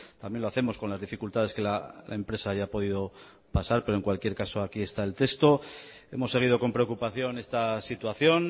también lo hacemos con las dificultades que la empresa haya podido pasar pero en cualquier caso aquí está el texto hemos seguido con preocupación esta situación